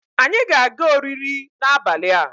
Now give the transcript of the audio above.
anyi ga-aga oriri n'abali a